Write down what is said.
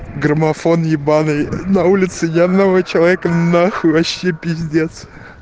граммофон ебаный на улице ни одного человека нахуй вообще пиздец